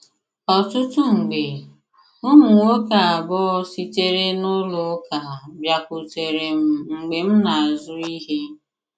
Ọtụtụ mgbe, ụmụ nwoke abụọ sitere na ụlọ ụka bịakwutere m mgbe m na - azụ ihe.